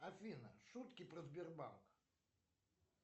афина шутки про сбербанк